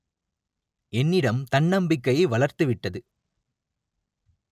என்னிடம் தன்னம்பிக்கையை வளர்த்துவிட்டது